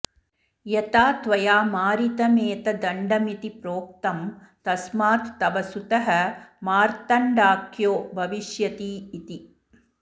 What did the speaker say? यथा त्वया मारितमेतदण्डमिति प्रोक्तं तस्मात् तव सुतः मार्तण्डाख्यो भविष्यतीति